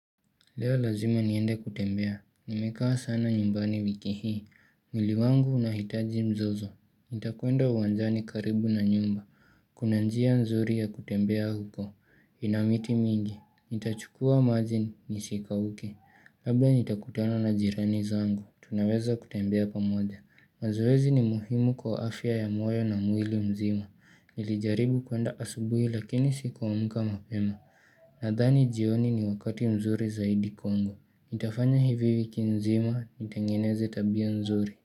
Leo lazima niende kutembea, nimekaa sana nyumbani wiki hii mwili wangu unahitaji mzozo, nitakwenda uwanjani karibu na nyumba Kuna njia nzuri ya kutembea huko, ina miti mingi, nitachukua maji nisikauke Labda nitakutana na jirani zangu, tunaweza kutembea pamoja mazoezi ni muhimu kwa afya ya moyo na mwili mzima, nilijaribu kwenda asubuhi lakini sikuamka mapema Nadhani jioni ni wakati mzuri zaidi kwangu. Nitafanya hivi wiki nzima, nitengeneze tabia nzuri.